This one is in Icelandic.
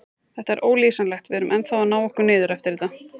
Þetta er ólýsanlegt, við erum ennþá að ná okkur niður eftir þetta.